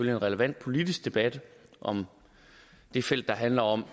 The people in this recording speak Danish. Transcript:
en relevant politisk debat om det felt der handler om